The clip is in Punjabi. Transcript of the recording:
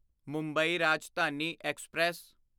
ਮੁੰਬਈ ਰਾਜਧਾਨੀ ਐਕਸਪ੍ਰੈਸ